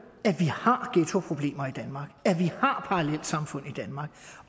har parallelsamfund i danmark